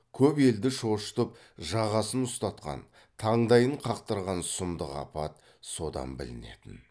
көп елді шошытып жағасын ұстатқан таңдайын қақтырған сұмдық апат содан білінетін